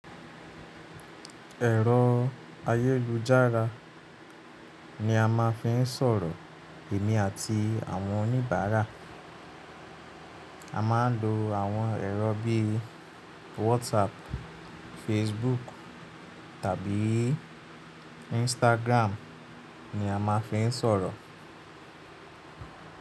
Ẹ̀rọ ayélujára ni a máa fí ń sọ̀rọ̀ èmi àti àwọn oníbàárà. A máa ń lo àwọn ẹ̀rọ bí i WhatsApp, Facebook tàbí Instagram ni a ma ń fi sọ̀rọ̀.